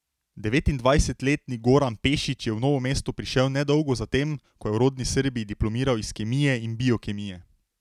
Devetindvajsetletni Goran Pešić je v Novo mesto prišel nedolgo za tem, ko je v rodni Srbiji diplomiral iz kemije in biokemije.